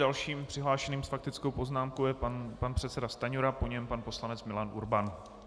Dalším přihlášeným s faktickou poznámkou je pan předseda Stanjura, po něm pan poslanec Milan Urban.